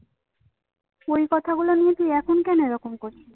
কথাগুলো নিয়ে তুই এখন কেন এরকম করছিস?